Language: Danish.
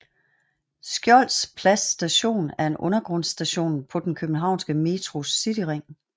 Skjolds Plads Station er en undergrundsstation på den københavnske Metros cityring